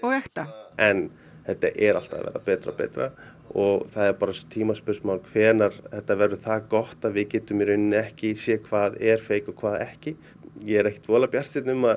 ekta en þetta er alltaf að verða betra og betra og það er bara tímaspursmál hvenær þetta verður það gott að við getum í rauninni ekki séð hvað er fake og hvað ekki ég er ekkert voðalega bjartsýnn um að